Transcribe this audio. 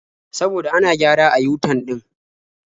Saboda ana gyara a yu-tan ɗin.